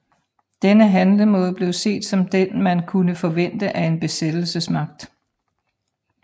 Denne handlemåde blev set som den man kunne forvente af en besættelsesmagt